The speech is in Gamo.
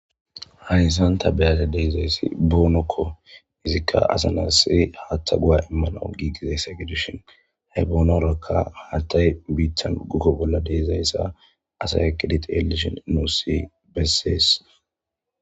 hayssan ta be'ada de'izayssi boonokko izikka assa naasi haatta go'a imanaw giigizayssa gidishin he boonorakka haattay biittan gukoo bolla de'izayssa asaya eqqidi teliishshin nuussi bessees